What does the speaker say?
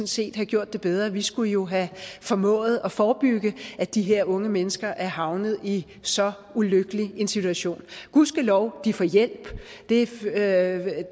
set have gjort det bedre vi skulle jo have formået at forebygge at de her unge mennesker er havnet i så ulykkelig en situation gudskelov de får hjælp det